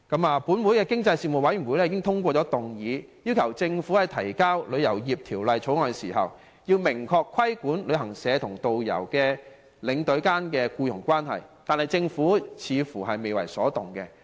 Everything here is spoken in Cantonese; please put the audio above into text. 立法會經濟事務委員會已通過議案，要求政府在提交《旅遊業條例草案》時，明確規管旅行社與導遊及領隊間的僱傭關係，但政府似乎未為所動。